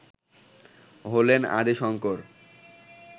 হলেন আদি শঙ্কর